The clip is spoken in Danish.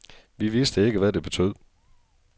Vi vidste ikke, hvad det betød.